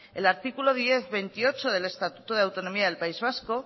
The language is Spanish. el artículo diez punto veintiocho del estatuto de autonomía del país vasco